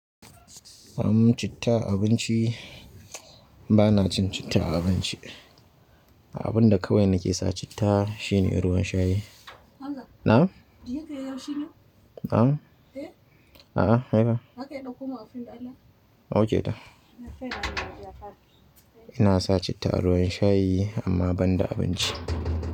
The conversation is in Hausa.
Ai mu, citta abinci bana cin citta a abinci. Abunda kawai nake sa citta shine ruwan shayi. Na'm? Na'm? A'a, hai ba. Ok da. Ina sa citta a ruwan shayi amma banda abinci.